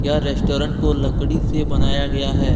Restaurant को लकड़ी से बनाया गया है।